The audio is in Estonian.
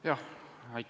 Aitäh!